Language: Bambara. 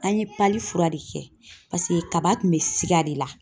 An ye fura de kɛ kaba kun bɛ siga de la